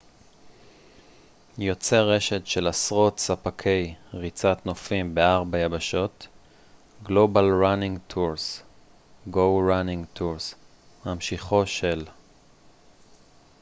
"ממשיכו של "go running tours" - "global running tours" - יוצר רשת של עשרות ספקי ריצת נופים בארבע יבשות.